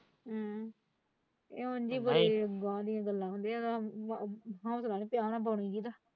ਇਹ ਉਂਝ ਹੀ ਬੜੀ ਬਾਹਰ ਦੀਆਂ ਗੱਲਾਂ ਨੇ।